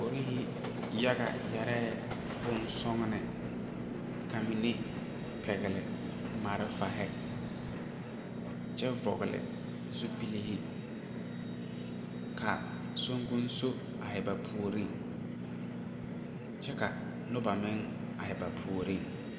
Polisiri yaga yeɛre bonsɔglɔ ka mine pɛgeli malfare kyɛ vɔgeli zupile ka sonkoŋso are ba puoriŋ kyɛ ka noba meŋ are ba puoriŋ.